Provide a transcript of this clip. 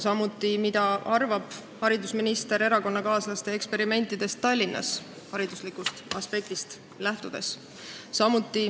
Samuti soovime teada, mida arvab haridusminister erakonnakaaslaste eksperimentidest Tallinnas, seda just hariduslikust aspektist hinnates.